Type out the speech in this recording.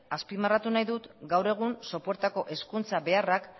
azpimarratu nahi dut gaur egun sopuertako hezkuntza beharrak